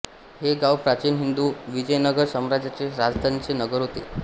हे गाव प्राचीन हिंदू विजयनगर साम्राज्याचे राजधानीचे नगर होते